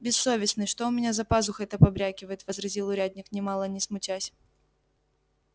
бессовестный что у меня за пазухой-то побрякивает возразил урядник нимало не смутясь